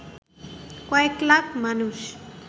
কয়েক লাখ মানুষ